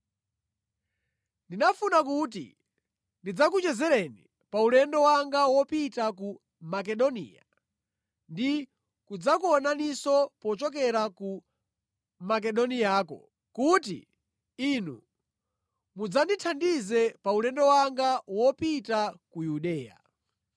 Ndinafuna kuti ndidzakuchezereni pa ulendo wanga wopita ku Makedoniya ndi kudzakuonaninso pochokera ku Makedoniyako kuti inu mudzandithandize pa ulendo wanga wopita ku Yudeya.